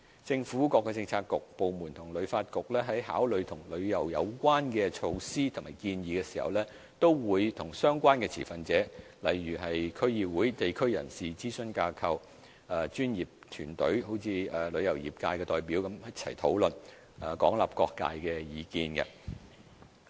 政府各政策局、部門和旅發局在考慮與旅遊有關的措施或建議時，均會與相關持份者討論，例如區議會、地區人士、諮詢組織、專業團體如旅遊業界的代表等，廣納各界的意見。